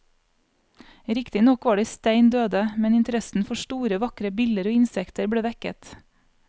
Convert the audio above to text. Riktignok var de stein døde, men interessen for store, vakre biller og insekter ble vekket.